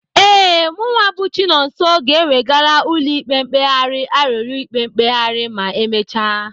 Ee, mụwa bụ Chinonso ga-ewegara ụlọ ikpe mkpegharị arịrịọ ikpe mkpegharị ma emecha.